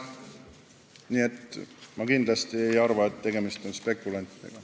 Nii et ma kindlasti ei arva, et tegemist on spekulantidega.